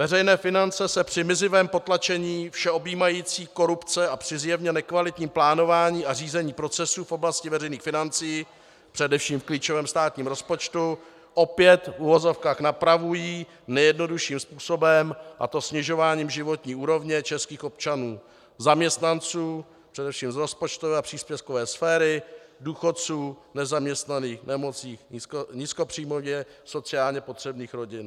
Veřejné finance se při mizivém potlačení všeobjímající korupce a při zjevně nekvalitním plánování a řízení procesů v oblasti veřejných financí, především v klíčovém státním rozpočtu, opět, v uvozovkách, napravují nejjednodušším způsobem, a to snižováním životní úrovně českých občanů, zaměstnanců především z rozpočtové a příspěvkové sféry, důchodců, nezaměstnaných, nemocných, nízkopříjmově sociálně potřebných rodin.